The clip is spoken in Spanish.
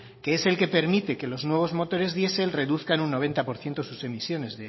que es el que permite que los nuevos motores diesel reduzcan un noventa por ciento sus emisiones